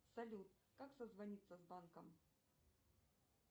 салют как созвониться с банком